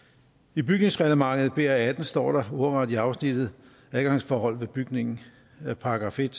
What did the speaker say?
i bygningsreglementet br18 står der ordret i afsnittet adgangsforhold ved bygningen § en